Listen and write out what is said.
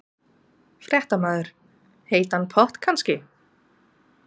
Fréttamaður: Heitan pott kannski?